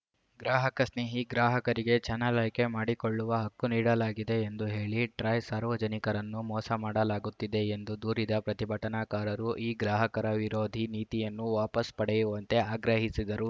ಗ್ರಾಹಕ ಸ್ನೇಹಿ ಗ್ರಾಹಕರಿಗೆ ಚಾನಲ್‌ ಆಯ್ಕೆ ಮಾಡಿಕೊಳ್ಳುವ ಹಕ್ಕು ನೀಡಲಾಗಿದೆ ಎಂದು ಹೇಳಿ ಟ್ರಾಯ್‌ ಸಾರ್ವಜನಿಕರನ್ನು ಮೋಸ ಮಾಡಲಾಗುತ್ತಿದೆ ಎಂದು ದೂರಿದ ಪ್ರತಿಭಟನಾಕಾರರು ಈ ಗ್ರಾಹಕರ ವಿರೋಧಿ ನೀತಿಯನ್ನು ವಾಪಾಸ್‌ ಪಡೆಯುವಂತೆ ಆಗ್ರಹಿಸಿದರು